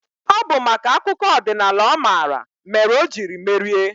Ọ bụ maka akụkọ ọdịnaala ọ mara mere o jiri merie.